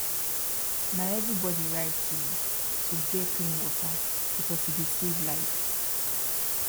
na everybody right to to get clean water because e dey save life